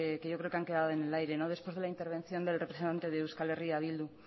que yo creo que han quedado en el aire después de la intervención del representante de euskal herria bildu